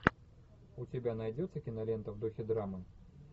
у тебя найдется кинолента в духе драмы